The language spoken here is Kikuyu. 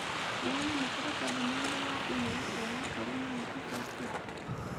nĩnyamũkĩrite ndũmĩrĩri ya e-mail kuuma kũrĩ mami ica ikuhĩ ?